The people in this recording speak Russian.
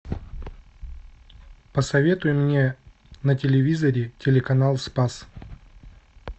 посоветуй мне на телевизоре телеканал спас